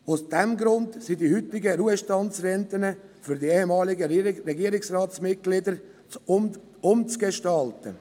Aus diesem Grund sind die heutigen Ruhestandsrenten für die ehemaligen Regierungsratsmitglieder umzugestalten.